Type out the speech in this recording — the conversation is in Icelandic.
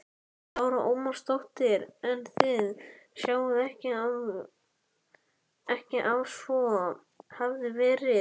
Lára Ómarsdóttir: En þið sjáið ekki að svo hafi verið?